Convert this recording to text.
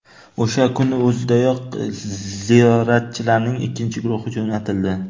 O‘sha kunning o‘zidayoq ziyoratchilarning ikkinchi guruhi jo‘natildi.